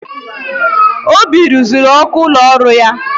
Obi ruziri ọkụ ụlọ ọrụ ya.